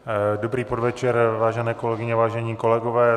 Dobrý podvečer, vážené kolegyně, vážení kolegové.